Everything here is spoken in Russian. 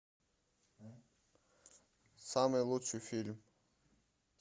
самый лучший фильм